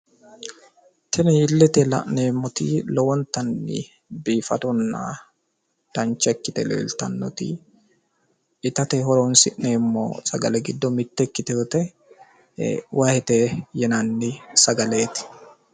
Tini iletenni la'neemmoti biifadona dancha ikkite leelittanoti ittate horonsi'neemmote Wahete yine woshshineemmote